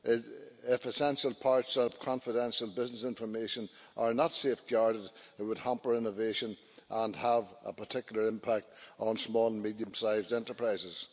If essential parts of confidential business information are not safeguarded, it would hamper innovation and have a particular impact on small and medium sized enterprises.